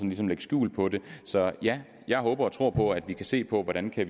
ligesom lægge skjul på det så ja jeg håber og tror på at vi kan se på hvordan vi